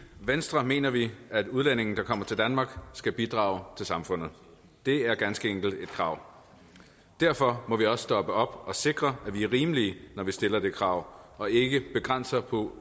venstre mener vi at udlændinge der kommer til danmark skal bidrage til samfundet det er ganske enkelt et krav og derfor må vi også stoppe op og sikre at vi er rimelige når vi stiller det krav og ikke begrænser på